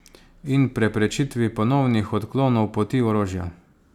In preprečitvi ponovnih odklonov poti orožja.